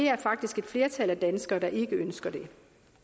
er faktisk et flertal af danskere der ikke ønsker det